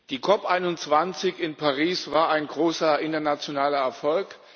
Die COP 21 in Paris war ein großer internationaler Erfolg!